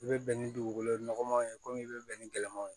I bɛ bɛn ni dugukolo nɔgɔman ye komi i bɛ bɛn ni gɛlɛman ye